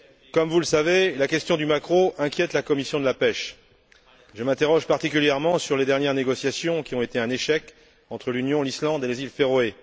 Comme vous le savez, la question du maquereau inquiète la commission de la pêche. Je m'interroge particulièrement sur les dernières négociations qui ont été un échec entre l'Union, l'Islande et les îles Féroé.